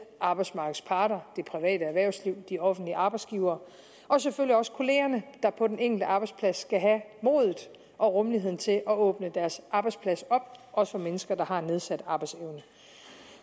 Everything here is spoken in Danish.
arbejdsmarkedets parter det private erhvervsliv de offentlige arbejdsgivere og selvfølgelig også kollegerne der på den enkelte arbejdsplads skal have modet og rummeligheden til at åbne deres arbejdsplads op også for mennesker der har en nedsat arbejdsevne